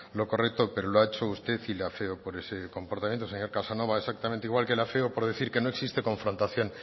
lo correcto pero lo ha hecho usted y le afeo por ese comportamiento señor casanova exactamente igual que le afeo por decir que no existe confrontación